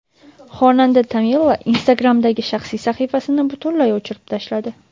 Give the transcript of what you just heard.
Xonanda Tamila Instagram’dagi shaxsiy sahifasini butunlay o‘chirib tashladi.